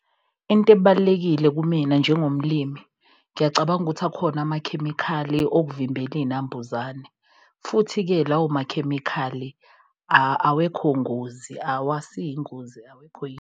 Into ebalulekile kumina njengomlimi, ngiyacabanga ukuthi akhona amakhemikhali okuvimbela iy'nambuzane. Futhi-ke lawo makhemikhali awekho ngozi awasiyi ingozi, awekho .